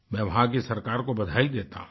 मैं वहाँ की सरकार को बधाई देता हूँ